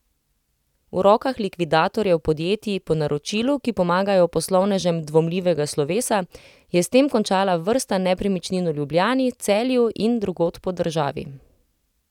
V rokah likvidatorjev podjetij po naročilu, ki pomagajo poslovnežem dvomljivega slovesa, je s tem končala vrsta nepremičnin v Ljubljani, Celju in drugod po državi.